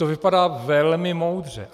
To vypadá velmi moudře.